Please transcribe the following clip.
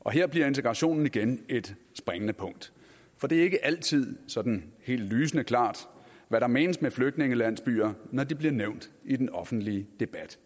og her bliver integrationen igen et springende punkt for det er ikke altid sådan helt lysende klart hvad der menes med flygtningelandsbyer når de bliver nævnt i den offentlige debat